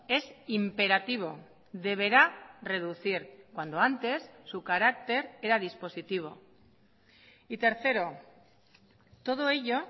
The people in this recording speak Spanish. es imperativo deberá reducir cuando antes su carácter era dispositivo y tercero todo ello